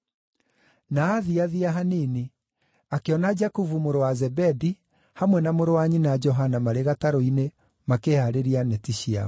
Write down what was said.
Na aathiathia hanini, akĩona Jakubu mũrũ wa Zebedi hamwe na mũrũ wa nyina Johana marĩ gatarũ-inĩ makĩhaarĩria neti ciao.